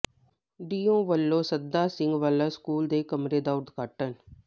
DEO ਵੱਲੋਂ Sadda Singh Wala school ਦੇ ਕਮਰੇ ਦਾ ਉਦਘਾਟਨ